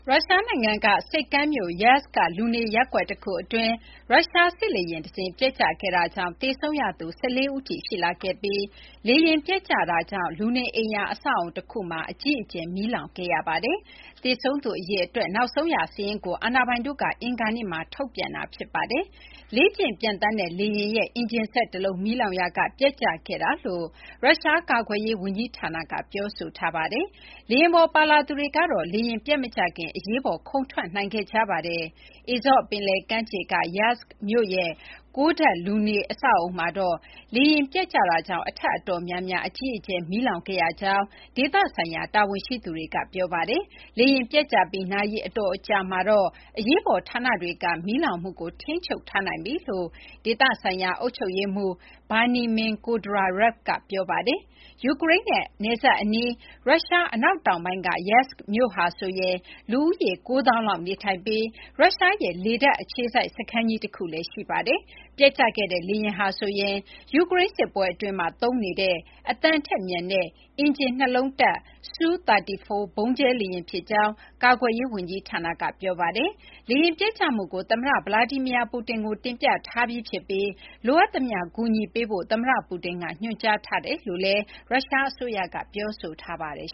ရုရှား နိုင်ငံက ဆိပ်ကမ်းမြို့ Yeysk က လူနေရပ်ကွက် တခု အတွင်း ရုရှားစစ်လေယာဉ်တစင်း ပျက်ကျခဲ့တာကြောင့် သေဆုံးရသူ ၁၄ ဦးထိ ရှိလာခဲ့ပြီး လေယာဉ် ပျက်ကျမှုကြောင့် လူနေအိမ်ယာ အဆောက်အအုံ တခုမှာ အကြီးအကျယ် မီးလောင်ခဲ့ရပါတယ်။ သေဆုံးသူ အရေအတွက် နောက်ဆုံး စာရင်းကို အာဏာပိုင်တို့က အင်္ဂါနေ့မှာ ထုတ်ပြန်တာ ဖြစ်ပါတယ်။ လေ့ကျင့်ပျံသန်းတဲ့ လေယာဉ်ရဲ့ အင်ဂျင်စက်တလုံး မီးလောင်ရာက ပျက်ကျခဲ့တာလို့ ရုရှား ကာကွယ်ရေး ဝန်ကြီးဌာနက ပြောဆိုထားပါတယ်။ လေယာဉ်ပေါ်ပါလာသူတွေကတော့ လေယာဉ် ပျက်မကျခင် အရေးပေါ် ခုန်ထွက်နိုင်ခဲ့ကြပါတယ်။ Azov ပင်လယ်ကမ်းခြေက Yeysk မြို့ရဲ့ ၉ ထပ် လူနေအဆောက်အအုံမှာတော့ လေယာဉ်ပျက်ကျတာကြောင့် အထပ်အတော်များများ အကြီးအကျယ် မီးလောင်ခဲ့ရကြောင်း ဒေသဆိုင်ရာ တာဝန်ရှိသူတွေက ပြောပါတယ်။ လေယာဉ်ပျက်ကျပြီး နာရီအတော်ကြာမှာတော့ အရေးပေါ် ဌာနတွေက မီးလောင်မှုကို ထိန်းချုပ်ထားနိုင်ပြီလို့ ဒေသဆိုင်ရာ အုပ်ချုပ်ရေးမှူး Veniamin Kondratyev က ပြောပါတယ်။ ယူကရိန်းနဲ့ နယ်စပ်အနီး ရုရှား အနောက်တောင်ပိုင်းက Yeysk မြို့ဟာဆိုရင် လူဦးရေ ၉၀,၀၀၀ လောက် နေထိုင်ပြီး ရုရှားရဲ့ လေတပ်အခြေစိုက် စခန်းကြီးတခုလည်း ရှိပါတယ်။ ပျက်ကျခဲ့တဲ့ လေယာဉ်ဟာဆိုရင် ယူကရိန်း စစ်ပွဲအတွင်းမှာ သုံးနေတဲ့ အသံထက်မြန်တဲ့ အင်ဂျင်နှစ်လုံးတပ် Su-34 ဗုံးကျဲလေယာဉ် ဖြစ်ကြောင်း ကာကွယ်ရေး ဝန်ကြီးဌာနက ပြောပါတယ်။ လေယာဉ်ပျက်ကျမှုကို သမ္မတ Vladimir Putin ကို တင်ပြထားပြီး ဖြစ်ပြီး လိုအပ်သမျှ ကူညီပေးဖို့ သမ္မတ Putin က ညွှန်ကြားထားကြောင်း ရုရှား အစိုးရက ပြောဆိုထားပါတယ်